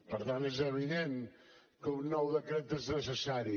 per tant és evident que un nou decret és necessari